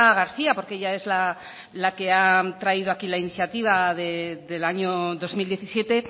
garcía porque ella es la que ha traído aquí la iniciativa del año dos mil diecisiete